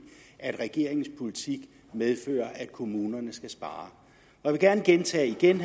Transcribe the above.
at regeringens politik medfører at kommunerne skal spare jeg vil gerne gentage igen